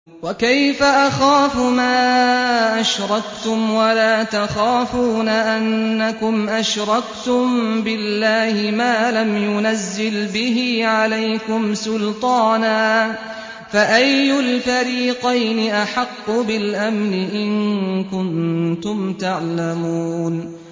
وَكَيْفَ أَخَافُ مَا أَشْرَكْتُمْ وَلَا تَخَافُونَ أَنَّكُمْ أَشْرَكْتُم بِاللَّهِ مَا لَمْ يُنَزِّلْ بِهِ عَلَيْكُمْ سُلْطَانًا ۚ فَأَيُّ الْفَرِيقَيْنِ أَحَقُّ بِالْأَمْنِ ۖ إِن كُنتُمْ تَعْلَمُونَ